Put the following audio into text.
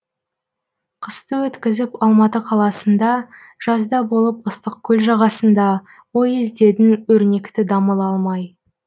қысты өткізіп алматы қаласында жазда болып ыстықкөл жағасында ой іздедің өрнекті дамыл алмай